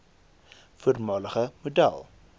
voormalige model